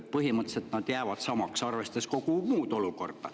Põhimõtteliselt jäävad need samaks, arvestades kogu muud olukorda.